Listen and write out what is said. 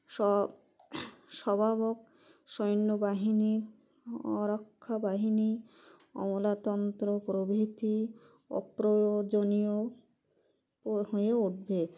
স COUGH সভাবক সৈন্যবাহিনী ও রক্ষা বাহিনী অমলাতন্ত্র প্রভৃতি অপ্রয়োজনীয় ওহয়ে উঠবে